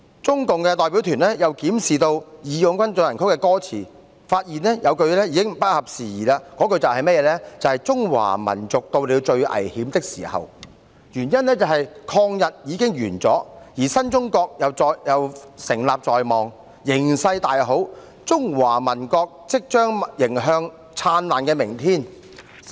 中共代表團又檢視"義勇軍進行曲"的歌詞，發現有句已經不合時宜，那句便是"中華民族到了最危險的時候"，原因是抗日已完，而新中國亦成立在望，形勢大好，"中華民族即將迎來燦爛的明天"才對。